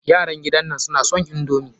Yaran gidan nan suna son indomi.